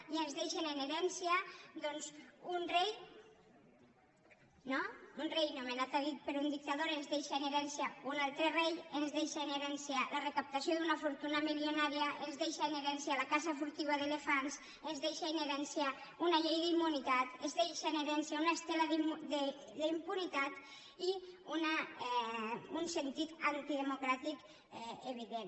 i ens deixen en herència doncs un rei no un rei nomenat a dit per un dictador ens deixa en herència un altre rei ens deixa en herència la recaptació d’una fortuna milionària ens deixa en herència la caça furtiva d’elefants ens deixa en herència una llei d’immunitat ens deixa en herència una estela d’impunitat i un sentit antidemocràtic evident